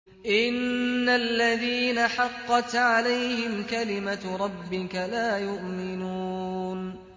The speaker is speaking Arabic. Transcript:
إِنَّ الَّذِينَ حَقَّتْ عَلَيْهِمْ كَلِمَتُ رَبِّكَ لَا يُؤْمِنُونَ